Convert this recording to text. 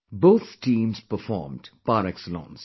Both teams performed par excellence